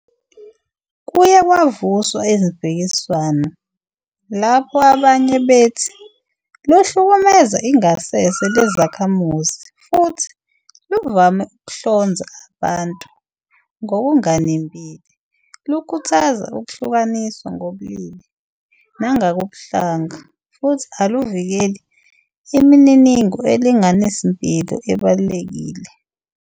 kuye kwavusa izimpikiswano, lapho abanye bethi luhlukumeza ingasese lezakhamuzi, futhi luvame ukuhlonza abantu ngokunganembile, lukhuthaza ukuhlukaniswa ngokobulili nangokobuhlanga, futhi aluvikeli imininingo elinganisimpilo ebalulekile.